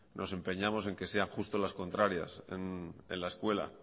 nos empeñamos en que sean justo las contrarias en la escuela